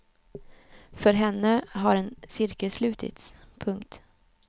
För henne har en cirkel slutits. punkt